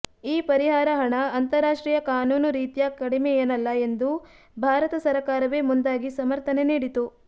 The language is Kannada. ಈ ಪರಿಹಾರ ಹಣ ಅಂತಾರಾಷ್ಟ್ರೀಯ ಕಾನೂನು ರೀತ್ಯ ಕಡಿಮೆಯೇನಲ್ಲ ಎಂದು ಭಾರತ ಸರಕಾರವೇ ಮುಂದಾಗಿ ಸಮರ್ಥನೆ ನೀಡಿತು